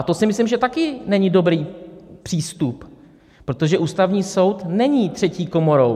A to si myslím, že taky není dobrý přístup, protože Ústavní soud není třetí komorou.